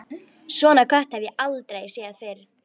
Svona kött hafði hann aldrei séð fyrr.